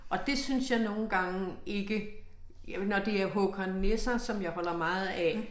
Og det synes jeg nogle gange ikke. Jo når det er Håkon Nesser som jeg holder meget af